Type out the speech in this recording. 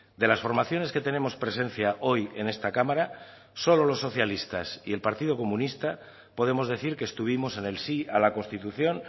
de las formaciones que tenemos presencia hoy en esta cámara solo los socialistas y el partido comunista podemos decir que estuvimos en el sí a la constitución